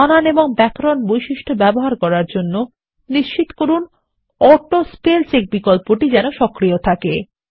বানান এবং ব্যাকরণ বৈশিষ্ট্য ব্যবহার করার জন্য নিশ্চিত করুন অটো স্পেল চেক বিকল্পটি সক্রিয় রয়েছে